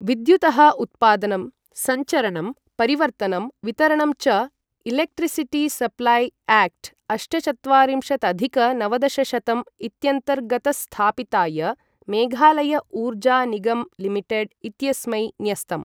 विद्युतः उत्पादनं, संचरणं, परिवर्तनं, वितरणं च इलेक्ट्रिसिटि सप्लाय् ऐक्ट्, अष्टचत्वारिंशदधिक नवदशशतं इत्यन्तर्गतस्थापिताय मेघालय ऊर्जा निगम् लिमिटेड् इत्यस्मै न्यस्तम्।